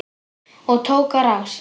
Og tók á rás.